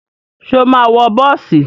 Ṣo máa wọ bọ́ọ̀sì?